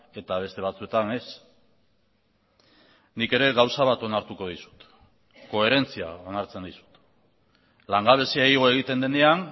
eta beste batzuetan ez nik ere gauza bat onartuko dizut koherentzia onartzen dizut langabezia igo egiten denean